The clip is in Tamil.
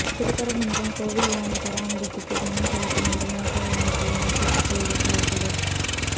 திருப்பரங்குன்றம் கோயில் யானை பராமரிப்புக்கு பணம் செலுத்துமாறு வனத்துறை அனுப்பிய நோட்டீசுக்கு இடைக்காலத்தடை